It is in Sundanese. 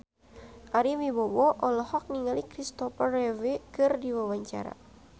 Ari Wibowo olohok ningali Kristopher Reeve keur diwawancara